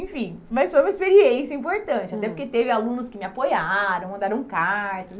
Enfim, mas foi uma experiência importante, hum, até porque teve alunos que me apoiaram, mandaram cartas.